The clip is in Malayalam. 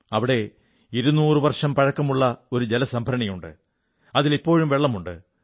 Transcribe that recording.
അവിടെ 200 വർഷം പഴക്കമുള്ള ഒരു ജലസംഭരണിയുണ്ട് അതിൽ ഇപ്പോഴും വെള്ളവുമുണ്ട്